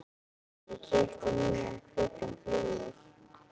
Ég keypti nýjan hvítan flygil.